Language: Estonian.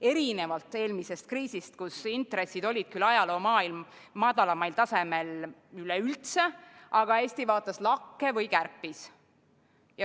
Erinevalt eelmise kriisi ajal toimunust, kui intressid olid küll ajaloo madalaimal tasemel üleüldse, aga Eesti vaatas lakke või kärpis.